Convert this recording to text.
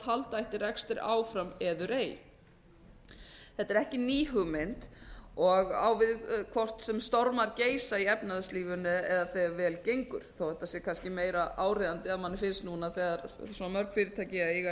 halda ætti rekstri áfram eður ei þetta er ekki ný hugmynd og á við hvort sem stormar geysa í efnahagslífinu eða þegar vel gengur þó þetta sé kannski meira áríðandi að manni finnst núna þegar svona mörg fyrirtæki eiga